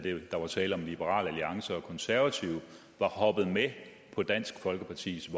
der var tale om liberal alliance og konservative var hoppet med på dansk folkepartis